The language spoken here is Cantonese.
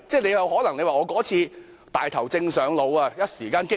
你可能會說：我那次"大頭症上腦"，一時間過於激昂。